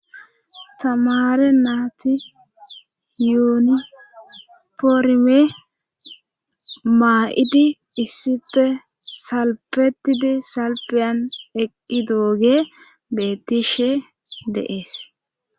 tamare naati yuuni poorme maa7idi issife salpetidi salpiyan eqqidooge beettishe deees